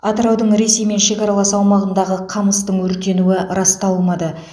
атыраудың ресеймен шекаралас аумағындағы қамыстың өртенуі расталмады